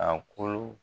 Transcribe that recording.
A kolo